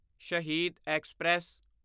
Shaheed express